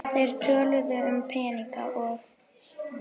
Þeir töluðu um peninga og